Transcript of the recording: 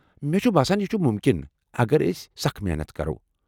مےٚ چھُ باسان یہ چُھ مُمکن اگر أسۍ سخ محنت کرو۔